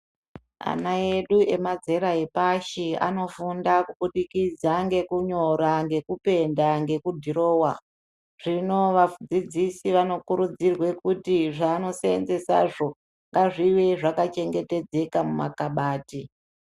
Ana edu nemazera epashia anofunda kubudikidza ngekunyora, ngekupenda, ngekudhirowa. Zvino vadzidzisi vanokurudzirwe kuti zveanoseenzesazvo ngazvive zvakachengetedzeka mumakhabati.